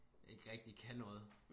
Ikke rigtig kan noget